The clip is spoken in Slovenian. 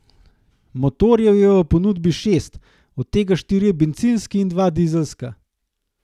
Motorjev je v ponudbi šest, od tega štirje bencinski in dva dizelska.